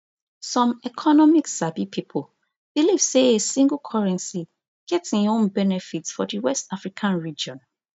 some economic sabi pipo believe say a single currency get im own benefits for di west african region